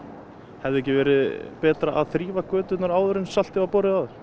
hefði ekki verið betra að þrífa göturnar áður en saltið var borið á þær